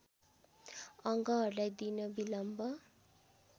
अङ्गहरूलाई दिन बिलम्ब